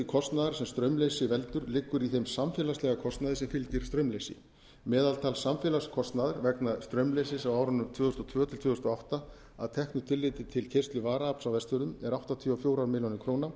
kostnaðar sem straumleysi veldur liggur í þeim samfélagslega kostnaði sem fylgir straumleysi meðaltal samfélagslegs kostnaðar vegna straumleysis árin tvö þúsund og tvö til tvö þúsund og átta að teknu tilliti til keyrslu varaafls á vestfjörðum er áttatíu og